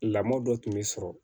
Lamɔ dɔ tun bɛ sɔrɔ